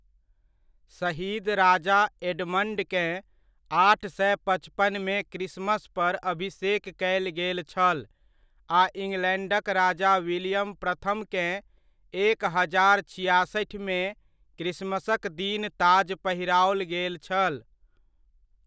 शहीद राजा एडमंडकेँ आठ सए पचपनमे क्रिसमस पर अभिषेक कयल गेल छल आ इंग्लैंडक राजा विलियम प्रथमकेँ एक हजार छिआसठिमे क्रिसमसक दिन ताज पहिराओल गेल छल।